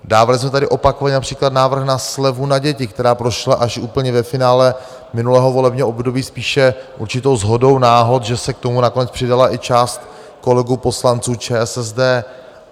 Dávali jsme tady opakovaně například návrh na slevu na děti, která prošla až úplně ve finále minulého volebního období spíše určitou shodou náhod, že se k tomu nakonec přidala i část kolegů, poslanců ČSSD.